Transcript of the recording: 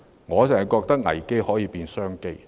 我認為危機可以變成商機。